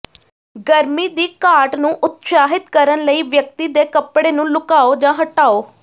ਗਰਮੀ ਦੀ ਘਾਟ ਨੂੰ ਉਤਸ਼ਾਹਿਤ ਕਰਨ ਲਈ ਵਿਅਕਤੀ ਦੇ ਕੱਪੜੇ ਨੂੰ ਲੁਕਾਓ ਜਾਂ ਹਟਾਓ